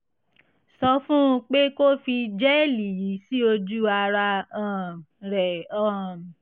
sọ fún un pé kó fi jẹ́ẹ̀lì yìí sí ojú ara um rẹ̀ um